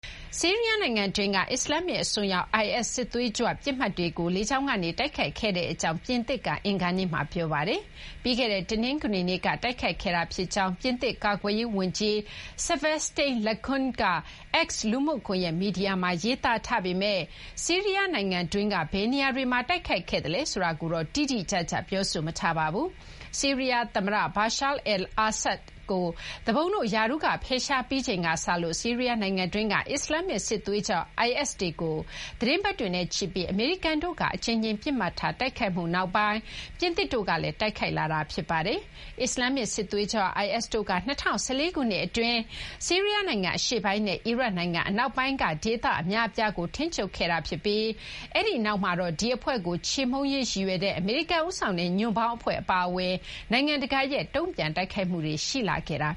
ဆီးရီးယား နိုင်ငံတွင်းက အစ္စလာမ္မစ် အစွန်းရောက် IS စစ်သွေးကြွ ပစ်မှတ်တွေကို လေကြောင်းကနေ တိုက်ခိုက်ခဲ့ကြောင်း ပြင်သစ်က အင်္ဂါနေ့မှာ ပြောပါတယ်။ ပြီးခဲ့တဲ့ တနင်္ဂနွေနေ့က တိုက်ခိုက်ခဲ့တာ ဖြစ်ကြောင်း ပြင်သစ် ကာကွယ်ရေး ဝန်ကြီး sebastien Lecornu က X လူမှုကွန်ရက် မီဒီယာမှာ ရေးသားထားပေမဲ့ ဆီးရီးယား နိုင်ငံတွင်းက ဘယ်နေရာတွေမှာ တိုက်ခိုက်ခဲ့သလဲ ဆိုတာကိုတော့ တိတိကျကျ ပြောဆိုမထားပါဘူး။ ဆီးရီးယား သမ္မတ Bashar al-Assad ကို သူပုန်တို့ ရာထူးက ဖယ်ရှားပြီးချိန်ကစလို့ ဆီးရီးယားနိုင်ငံတွင်းက အစ္စလာမ္မစ် စစ်သွေးကြွ IS တွေကို သီတင်းပတ်တွေနဲ့ချီပြီး အမေရိကန်တို့က အကြိမ်ကြိမ် ပစ်မှတ်ထား တိုက်ခိုက်မှုနောက်ပိုင်း ပြင်သစ်တို့ကလည်း တိုက်ခိုက်လာတာပါ။ အစ္စလာမ္မစ် စစ်သွေးကြွ IS တို့က ၂၀၁၄ ခုနှစ် အတွင်း ဆီးရီးယား နိုင်ငံ အရှေ့ပိုင်း နဲ့ အီရတ်နိုင်ငံ အနောက်ပိုင်းက ဒေသတွေ အများအပြားကို ထိန်းချုပ်ခဲ့ပြီးနောက်မှာတော့ ဒီအဖွဲ့ကို ချေမှုန်းရေး ရည်ရွယ်တဲ့ အမေရိကန် ဦးဆောင်တဲ့ ညွန့်ပေါင်း အဖွဲ့ အပါအဝင် နိုင်ငံတကာရဲ့ တုံ့ပြန်တိုက်ခိုက်မှုတွေ ရှိလာခဲ့တာ